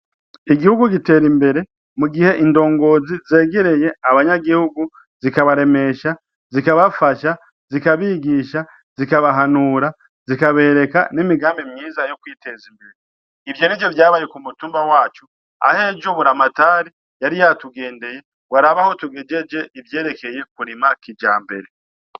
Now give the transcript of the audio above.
Igihugu giter'imbere mugihe indongozi zegerey abanyagihugu :zikabaremesha, zikabafasha ,zikabigisha, zikabahanura ,zikabereka n'imigambi myiza yokwitez'imbere. Ivyo nivyo vyabaye k'umutumba wacu, ah'ejo buramatari yari yatugendeye gwarabe aho tugejeje ivyerekeye kurima kijambere.